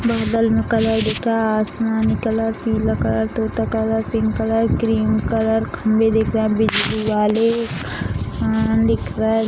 बहुत कलर दिख रहा है | आसमानी कलर पीला कलर तोता colour pink colour cream colour | खम्बे दिख रहे हैं बिजली वाले उम् दिख रहा है |